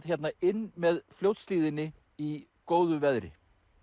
hérna inn með Fljótshlíðinni í góðu veðri